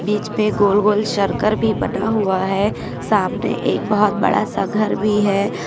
बीच पे गोल गोल सर्कल भी बना हुआ है सामने एक बहुत बड़ा सा घर भी है।